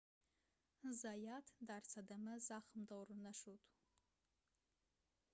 заят дар садама захмдор нашуд